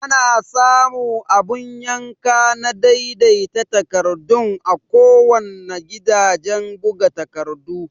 Ana samu abun yanka na daidai ta takardun a kuwanna gidajan buga takardu